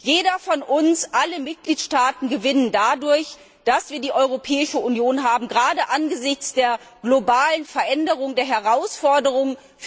Jeder von uns, alle Mitgliedstaaten gewinnen dadurch, dass wir die Europäische Union haben, gerade angesichts der globalen Veränderung der Herausforderungen.